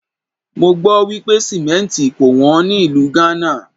Mọ gbọ́ wípé Símẹ́ǹtì kò wón ní ìlú Ghana.